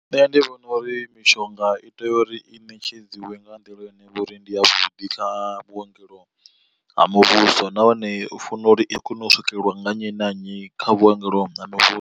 Nṋe ndi vhona uri mishonga i tea uri i ṋetshedziwe nga nḓila ine ya vho uri ndi yavhuḓi kha vhuongelo ha muvhuso, nahone u funa uri i kone u swikelelwa nga nnyi na nnyi kha vhuongelo ha muvhuso.